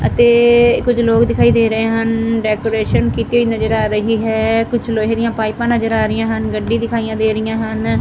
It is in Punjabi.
ਅਤੇ ਕੁਝ ਲੋਕ ਦਿਖਾਈ ਦੇ ਰਹੇ ਰਨ ਡੈਕੋਰੇਸ਼ਨ ਕੀਤੀ ਹੋਈ ਨਜ਼ਰ ਆ ਰਹੀ ਹੈ ਕੁਝ ਲੋਹੇ ਦੀਆਂ ਪਾਈਪਾਂ ਨਜ਼ਰ ਆ ਰਹੀ ਹਨ ਗੱਡੀ ਦਿਖਾਈਆਂ ਦੇ ਰਿਹੀਆਂ ਹਨ।